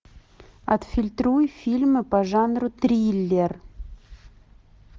отфильтруй фильмы по жанру триллер